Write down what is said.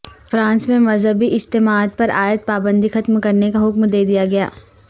France میں مذہبی اجتماعات پر عائد پابندی ختم کرنے کا حکم دے دیا گیا